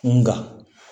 Nka